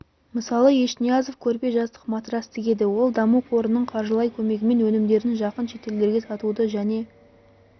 мысалы ешниязов көрпе жастық матрас тігеді ол даму қорының қаржылай көмегімен өнімдерін жақын шетелдерде сатуды және